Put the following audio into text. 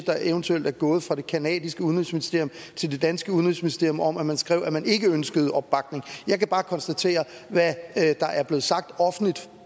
der eventuelt er gået fra det canadiske udenrigsministerium til det danske udenrigsministerium om at man har skrevet at man ikke ønskede opbakning jeg kan bare konstatere hvad der er blevet sagt offentligt